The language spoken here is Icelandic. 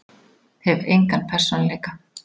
Hef engan persónuleika.